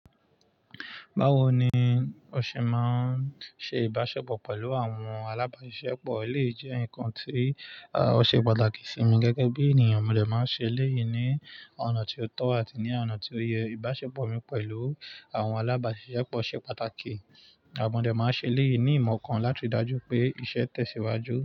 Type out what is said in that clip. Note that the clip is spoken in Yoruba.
Báwo ni o ṣe máa ń ṣe ìbáṣepọ̀ pẹ̀lú àwọn alábàásiṣepọ̀? Eleyii jẹ́ nǹkan tí ó ṣe pàtàkì sí mi gẹ́gẹ́ bí ènìyàn. Mo dẹ̀ máa ń ṣe eléyìí ní ọ̀nà tí ó tọ́ àti ní ọ̀nà tí ó yẹ. Ìbáṣepọ̀ mi pẹ̀lú àwọn alábàásiṣepọ̀ ṣe pàtàkì, a, mo dẹ̀ máa ń ṣe eléyìí ní ìmọ̀ kan láti dájú pé iṣẹ́ tẹ̀síwájú.